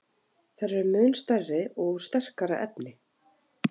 Þær eru mun stærri og úr sterkara efni.